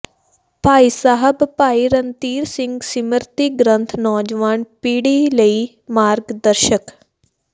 ਭਾਈ ਸਾਹਿਬ ਭਾਈ ਰਣਧੀਰ ਸਿੰਘ ਸਿਮਰਤੀ ਗ੍ਰੰਥ ਨੌਜਵਾਨ ਪੀੜ੍ਹੀ ਲਈ ਮਾਰਗ ਦਰਸ਼ਕ